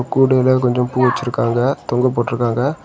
கூடையில கொஞ்சம் பூ வெச்சிருக்காங்க தொங்க போட்ருக்காங்க.